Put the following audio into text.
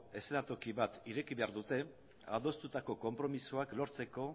eszenatoki bat ireki behar dute adostutako konpromisoak lortzeko